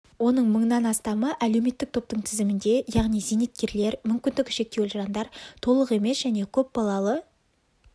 оның мыңнан астамы әлеуметтік топтың тізімінде яғни зейнеткерлер мүмкіндігі шектеулі жандар толық емес және көпбалалы